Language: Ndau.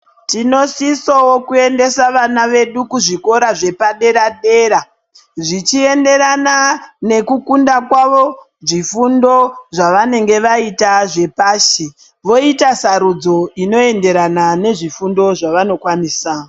Tinosisawo kuendesa vana vedu kuzvikora zvepadera dera zvichienderana nekukunda kwavo zvifundo zvevanenge vaita zvepashi voita sarudzo inoenderana nezvifundo zvavanokwanisa.